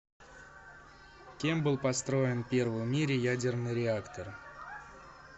кем был построен первый в мире ядерный реактор